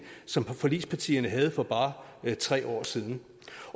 som forligspartierne havde for bare tre år siden